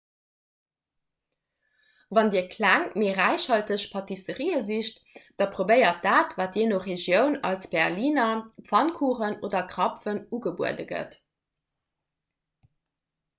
wann dir kleng mee räichhalteg pâtisserië sicht da probéiert dat wat jee no regioun als berliner pfannkuchen oder krapfen ugebuede gëtt